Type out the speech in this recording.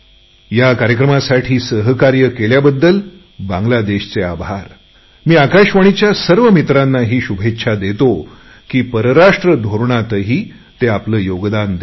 या कार्यक्रमासाठी आमच्या बरोबर राहून काम केले त्याबद्दल बांगलादेशचे आभार मी आकाशवाणीच्या सर्व मित्रांनाही शुभेच्छा देतो की परराष्ट्र धोरणातही ते आपले योगदान देत आहेत